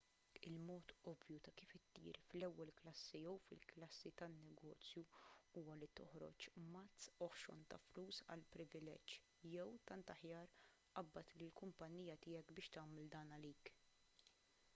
il-mod ovvju ta' kif ittir fl-ewwel klassi jew fil-klassi tan-negozju huwa li toħroġ mazz oħxon ta' flus għall-privileġġ jew tant aħjar qabbad lill-kumpanija tiegħek biex tagħmel dan għalik